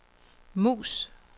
mus